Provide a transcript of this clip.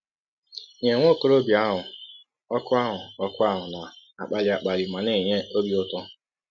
Nye nwa ọkọrọbịa ahụ, òkù ahụ, òkù ahụ na - akpali akpali ma na - enye ọbi ụtọ!.